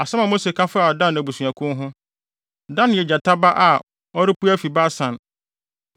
Asɛm a Mose ka faa Dan abusuakuw ho: “Dan yɛ gyata ba a, ɔrepue afi Basan.”